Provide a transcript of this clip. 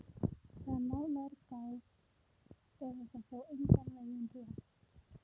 Þegar nánar er að gáð er þetta þó engan veginn rétt.